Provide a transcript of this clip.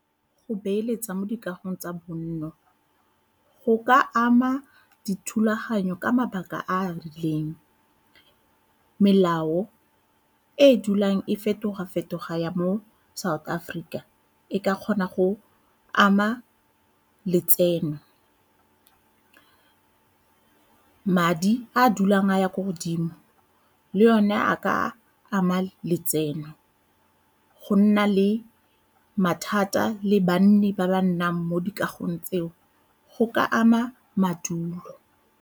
Go beeletsa mo dikagong tsa bonno go ka ama dithulaganyo ka mabaka a a rileng. Melao e e dulang e fetoga-fetoga ya mo South Africa e ka kgona go ama letseno, madi a a dulang a ya ko godimo le one a ka ama letseno, go nna le mathata le banni ba ba nnang mo dikagong tseo go ka ama madulo.